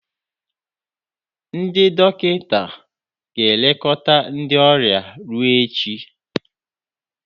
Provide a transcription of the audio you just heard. Ndị dọkịta ga-elekọta ndị ọrịa ruo echi.